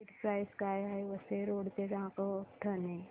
ticket price काय आहे Vasai road ते नागोठणे